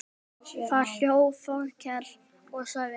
Þá hló Þórkell og sagði